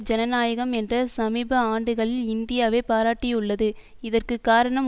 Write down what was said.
ஜனநாயகம் என்ற சமீப ஆண்டுகளில் இந்தியாவை பாராட்டியுள்ளது இதற்கு காரணம்